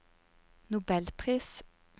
nobelpris